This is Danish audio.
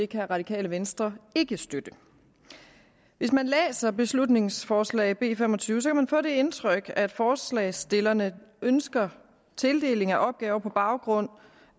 kan radikale venstre ikke støtte hvis man læser beslutningsforslag b fem og tyve kan man få det indtryk at forslagsstillerne ønsker at tildeling af opgaver på baggrund